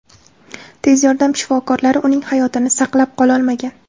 Tez yordam shifokorlari uning hayotini saqlab qololmagan.